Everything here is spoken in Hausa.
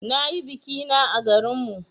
Na yi biki na à garin mu.